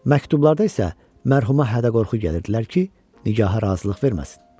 Məktublarda isə mərhuma hədə-qorxu gəlirdilər ki, nigaha razılıq verməsin.